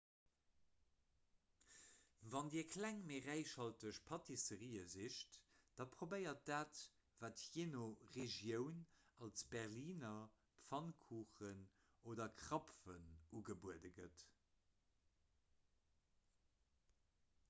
wann dir kleng mee räichhalteg pâtisserië sicht da probéiert dat wat jee no regioun als berliner pfannkuchen oder krapfen ugebuede gëtt